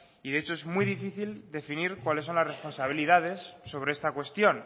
y de hecho es muy difícil definir cuáles son las responsabilidades sobre esta cuestión